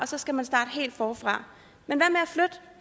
så skal man starte helt forfra men